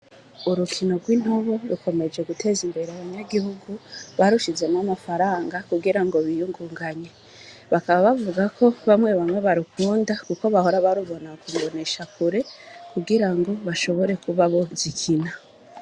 Urukino rw'intubo rukomeje guteza imbere abanyagihugu barushizemwo amafaranga kugira ngo biyugunganye bakaba bavuga ko bamwe bamwe barukunda, kuko bahora barubona kumubonesha kure kugira ngo bashobore kuba bo zikina.